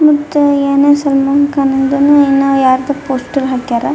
ಮತ್ತೆ ಏನೋ ಸಲ್ ಮಾನ್ ಕಾನ್ ದ್ ಏನೋ ಯಾರದೋ ಪೋಸ್ಟರ್ ಹಾಕ್ಯರ್.